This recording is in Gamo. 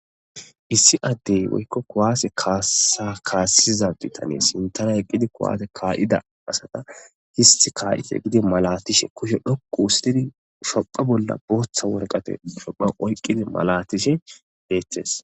Issi addey woykko kuwase kasa kasiza addetta hanesikko sintara eqqidi kuwase ka'ida asata hissi ka'ize giddi maalatishe kushshe dhoqqu histidii shuuphpha bolla booththa warqate shuuphhpakki oykidii maalatishe beetes.